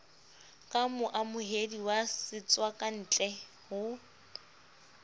ka moamohedi wa setswakantle ho